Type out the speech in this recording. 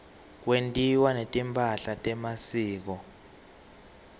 kwentiwa netimpahla temasiko